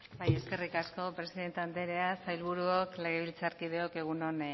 bai eskerrik asko presidente andrea sailburuok legebiltzarkideok